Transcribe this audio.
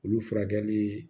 Olu furakɛli